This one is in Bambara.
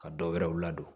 Ka dɔwɛrɛw ladon